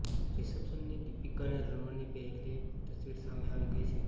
reception થી દીપિકા અને રણવીર ની પેહલી તસ્વીર સામે આવી ગઈ છે